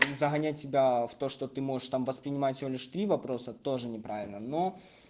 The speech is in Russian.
загонять себя в то что ты можешь там воспринимать всего лишь три вопроса тоже неправильно но